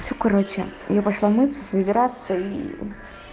все короче я пошла мыться собираться и